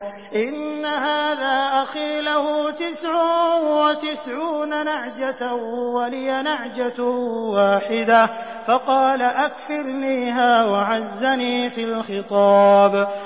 إِنَّ هَٰذَا أَخِي لَهُ تِسْعٌ وَتِسْعُونَ نَعْجَةً وَلِيَ نَعْجَةٌ وَاحِدَةٌ فَقَالَ أَكْفِلْنِيهَا وَعَزَّنِي فِي الْخِطَابِ